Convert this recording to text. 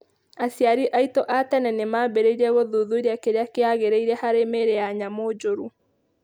Aciari aitũ a tene nĩ maambĩrĩirie gũthuthuria kĩrĩa kĩagĩrĩire harĩ mĩĩrĩ ya nyamũ njũru.